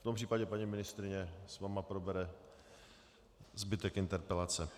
V tom případě paní ministryně s vámi probere zbytek interpelace.